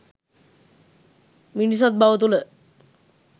මිනිසත්බව තුළ